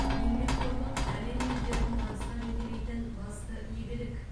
еңбекқорлық әлем елдерін табысқа жетелейтін басты игілік